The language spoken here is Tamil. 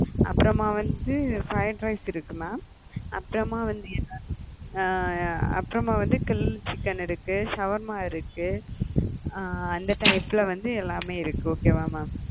அப்புறமா வந்த fried rice இருக்கு mam அப்புறமா வந்து அப்புறமா வந்து grill chicken இருக்கு, ஷவர்மா இருக்கு அ அந்த type ல எல்லாமே இருக்கு okay வா mam